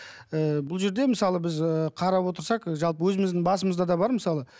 ы бұл жерде мысалы біз ы қарап отырсақ жалпы өзіміздің басымызда да бар мысалы